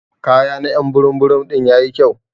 Kaya na y'an burum burum din yayi kyau.